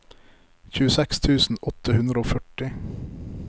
tjueseks tusen åtte hundre og førti